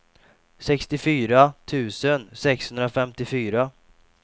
sextiofyra tusen sexhundrafemtiofyra